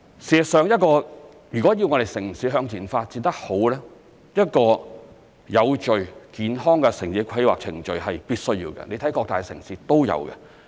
事實上如果要我們的城市向前發展得好，一個有序、健康的城市規劃程序是必需要的，你看各大城市都有。